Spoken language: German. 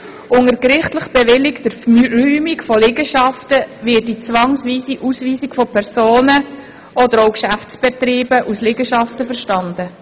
Unter gerichtlich bewilligter Räumung von Liegenschaften wird die zwangsweise Ausweisung von Personen oder Geschäftsbetrieben aus Liegenschaften verstanden.